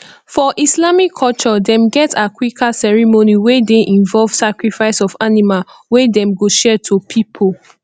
for islamic culture dem get aqiqah ceremony wey de involve sacrifice of animal wey dem go share to pipo